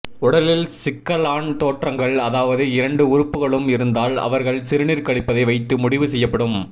உடலில் சிக்கலான் தோற்றங்கள் அதவாது இரண்டு உறுப்புக்களும் இருந்தால் அவர்கள் சிறுநீர் கழிப்பதை வைத்து முடிவு செய்யப்படும்